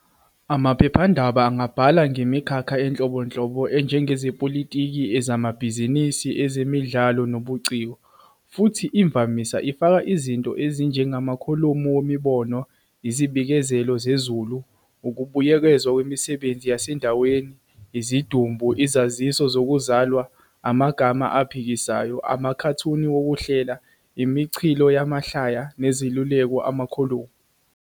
Amaphephandaba angabhala ngemikhakha enhlobonhlobo enjengezepolitiki, ezamabhizinisi, ezemidlalo nobuciko, futhi imvamisa ifaka izinto ezinjengamakholomu wemibono, izibikezelo zezulu, ukubuyekezwa kwemisebenzi yasendaweni, izidumbu, izaziso zokuzalwa, amagama aphikisayo, amakhathuni wokuhlela, imichilo yamahlaya, nezeluleko amakholomu.